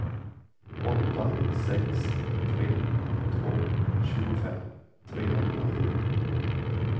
åtta sex tre två tjugofem trehundrasju